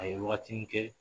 A ye wagatinin kɛ